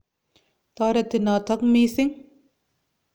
Toreti notok missing'.